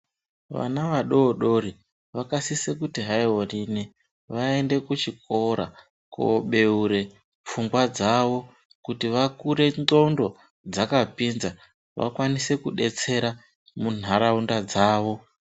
Vana vadodori vakasisa kuti vaende kuchikoro kobeure pfungwa dzavo kuti vakure nghlondo dzakapinza vakwanise kubetsera munharaunda dzavo